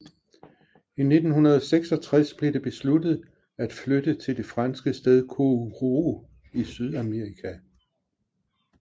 I 1966 blev det besluttet at flytte til det franske sted Kourou i Sydamerika